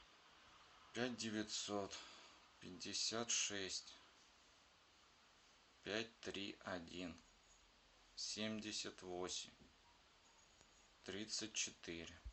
пять девятьсот пятьдесят шесть пять три один семьдесят восемь тридцать четыре